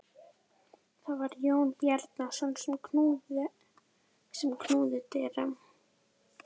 Það var Jón Bjarnason sem knúði dyra.